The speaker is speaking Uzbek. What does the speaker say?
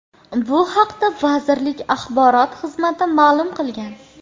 Bu haqda vazirlik axborot xizmati ma’lum qilgan .